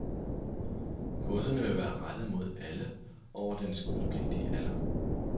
Kurserne vil være rettet mod alle over den skolepligtige alder.